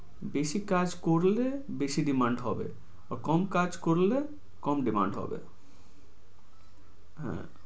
বেশি কাজ করলে বেশি demamd হবে। কম কাজ করলে কম demand হবে হ্যাঁ